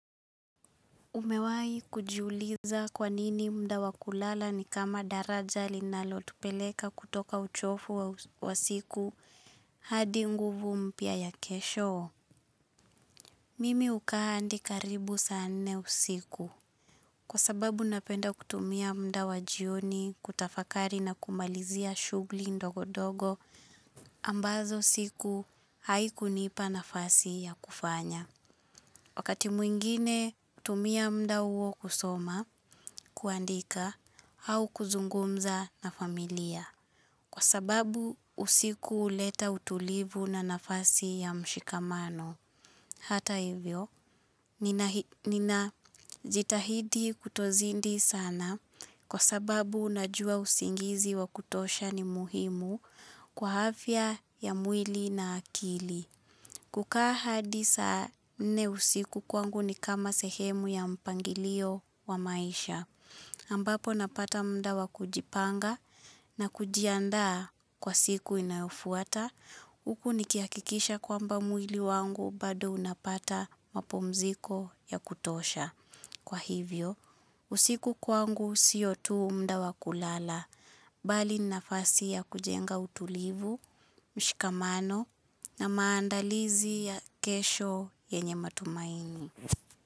Umewahi kujiuliza kwa nini mda wa kulala ni kama daraja linalotupeleka kutoka uchofu wa siku hadi nguvu mpya ya kesho? Mimi hukaa hadi karibu saa nne usiku. Kwa sababu napenda kutumia mda wa jioni kutafakari na kumalizia shughuli ndogo ndogo ambazo siku haikunipa nafasi ya kufanya. Wakati mwingine hutumia mda huo kusoma, kuandika, au kuzungumza na familia. Kwa sababu usiku huleta utulivu na nafasi ya mshikamano. Hata hivyo, ninajitahidi kutozidi sana kwa sababu unajua usingizi wa kutosha ni muhimu kwa afya ya mwili na akili. Kukaa hadi saa nne usiku kwangu ni kama sehemu ya mpangilio wa maisha. Ambapo napata mda wa kujipanga na kujiandaa kwa siku inayofuata. Huku nikihakikisha kwamba mwili wangu bado unapata mapumziko ya kutosha. Kwa hivyo, usiku kwangu sio tu mda wa kulala. Bali nafasi ya kujenga utulivu, mshikamano na maandalizi ya kesho yenye matumaini.